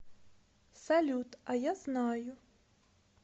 салют а я знаю